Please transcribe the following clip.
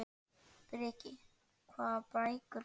Breki: Hvaða bækur fékkstu?